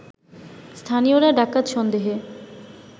স্থানীয়রা ডাকাত সন্দেহে